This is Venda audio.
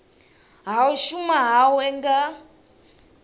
ha u shuma hawe nga